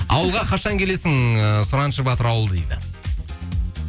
ауылға қашан келесің ыыы сұраншы батыр ауыл дейді